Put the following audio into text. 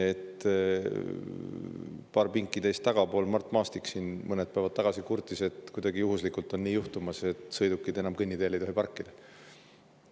Paar pinki teist tagapool Mart Maastik mõned päevad tagasi kurtis, et kuidagi juhuslikult on nii juhtumas, et sõidukid ei tohi enam kõnniteel parkida.